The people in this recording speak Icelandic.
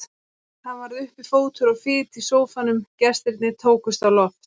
Það varð uppi fótur og fit í sófanum, gestirnir tókust á loft.